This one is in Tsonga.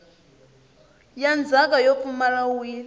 ya ndzhaka yo pfumala wili